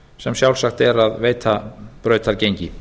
sem sjálfsagt er að veita brautargengi